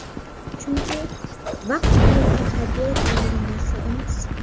Chunki vaqf mulki hadya etiladigan narsa emas.